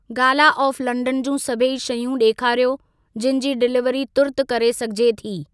Gala of London जूं सभई शयूं ॾेखारियो जिनि जी डिलीवरी तुर्त करे सघिजे थी।